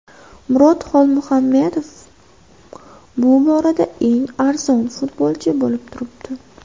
Murod Xolmuhamedov bu borada eng arzon futbolchi bo‘lib turibdi.